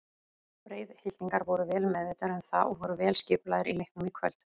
Breiðhyltingar voru vel meðvitaðir um það og voru vel skipulagðir í leiknum í kvöld.